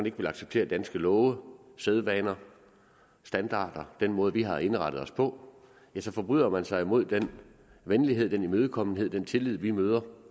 ikke vil acceptere danske love sædvaner standarder og den måde vi har indrettet os på så forbryder man sig mod den venlighed den imødekommenhed og den tillid vi møder